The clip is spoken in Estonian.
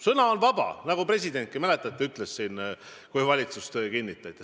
Sõna on vaba – nagu ütles presidentki, mäletate, kui valitsust ametisse kinnitati.